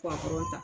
ta